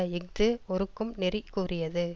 இஃது ஒறுக்கும் நெறி கூறியது